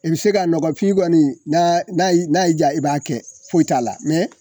I bi se ka nɔgɔfin kɔni n'aa n'a y'i n'a y'i diya i b'a kɛ foyi t'a la